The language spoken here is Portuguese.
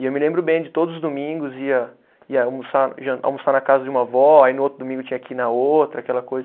E eu me lembro bem de todos os domingos ia, ia almoçar jan, almoçar na casa de uma avó, aí no outro domingo tinha que ir na outra, aquela coisa.